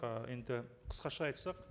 ы енді қысқаша айтсақ